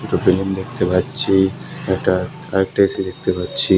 একটা বিল্ডিং দেখতে পাচ্ছি একটা আরেকটা এ_সি দেখতে পাচ্ছি।